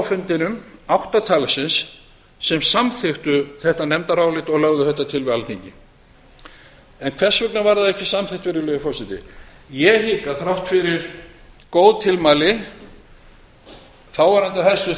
fundinum átt talsins sem samþykktu þetta nefndarálit og lögðu þetta til við alþingi hvers vegna var það ekki samþykkt virðulegi forseti ég hygg að þrátt fyrir góð tilmæli þáverandi